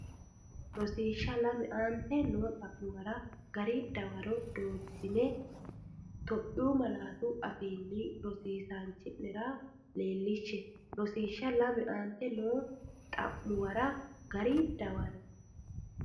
Rosiishsha Lame Aante noo xa’muwara gari dawaro dooratenni Itophiyu malaatu afiinni Rosiisaanchi’nera leellishshe Rosiishsha Lame Aante noo xa’muwara gari dawaro.